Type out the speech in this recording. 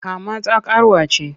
Kama ta karuwa ce!